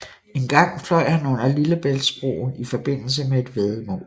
Engang fløj han under Lillebæltsbroen i forbindelse med et væddemål